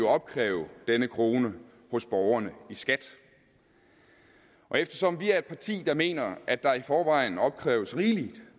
opkræve denne krone hos borgerne i skat og eftersom vi er et parti der mener at der i forvejen opkræves rigelig